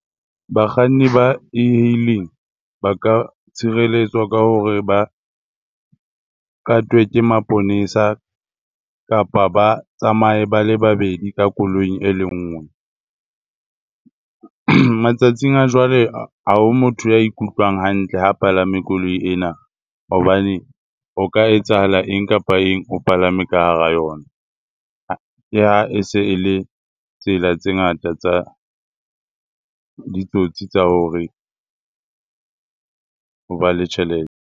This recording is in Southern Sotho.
Bakganni ba e-hailing ba ka tshireletswa ka hore ba katwe ke maponesa kapa ba tsamaye ba le babedi ka koloing e le ngwe. Matsatsing a jwale, ha ho motho ya ikutlwang hantle ho palame koloi ena hobane ho ka etsahala eng kapa eng o palame ka hara yona . Ke ha e se e le tsela tse ngata tsa ditsotsi tsa hore ho ba le tjhelete.